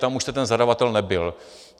Tam už jste ten zadavatel nebyl.